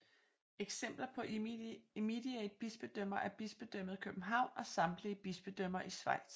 Eksempler på immediate bispedømmer er Bispedømmet København og samtlige bispedømmer i Schweiz